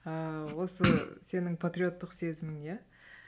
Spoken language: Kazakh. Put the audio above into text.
ыыы осы сенің патриоттық сезімің иә